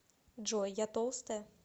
джой я толстая